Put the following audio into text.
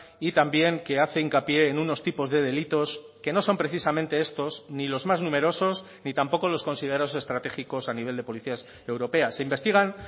y también que hace hincapié en unos tipos de delitos que no son precisamente estos ni los más numerosos ni tampoco los considerados estratégicos a nivel de policías europeas se investigan